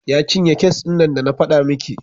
Ya cinye kes ɗin nan da na faɗa miki.